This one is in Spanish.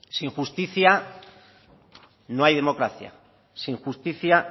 sin justicia no hay democracia sin justicia